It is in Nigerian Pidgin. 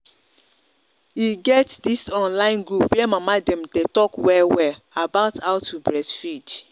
e get this online group where mama dem day talk well well about how to breastfeed